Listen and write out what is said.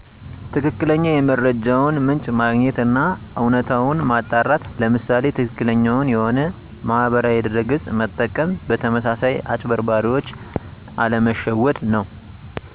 ትክክለኛ የመረጃውን ምንጭ ማግኘት አና እውነታውን ማጣራት ለምሳሌ ትክክለኛውን የሆነ ማህበራዊ ድረ ገፅ መጠቀም በተመሳሳይ አጭበርባሪዎች አለመሸወድ ነው